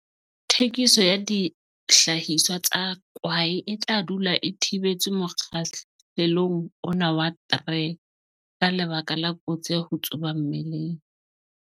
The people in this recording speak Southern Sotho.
Thekiso ya dihlahiswa tsa kwae e tla dula e thibetswe mokgahlelong ona wa 3, ka lebaka la kotsi ya ho tsuba mmeleng.